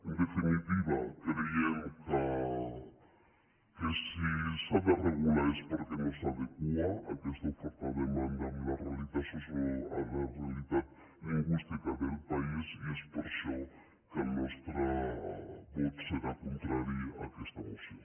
en definitiva creiem que si s’ha de regular és perquè no s’adequa aquesta oferta demanda a la realitat lingüística del país i és per això que el nostre vot serà contrari a aquesta moció